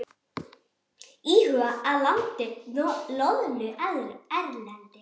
Íhuga að landa loðnu erlendis